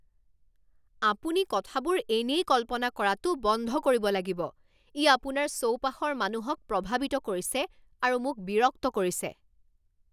আপুনি কথাবোৰ এনেই কল্পনা কৰাটো বন্ধ কৰিব লাগিব। ই আপোনাৰ চৌপাশৰ মানুহক প্ৰভাৱিত কৰিছে আৰু মোক বিৰক্ত কৰিছে।